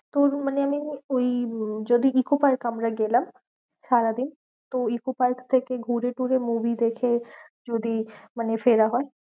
তোর মানে আমি ওই উম যদি ইকো পার্ক আমরা গেলাম সারাদিন। তো ইকো পার্ক থেকে ঘুরে টুরে movie দেখে যদি মানে ফেরা হয়।